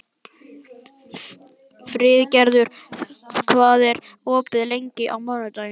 Friðgerður, hvað er opið lengi á mánudaginn?